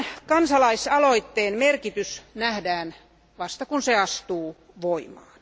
Kansalaisaloitteen merkitys nähdään vasta, kun se astuu voimaan.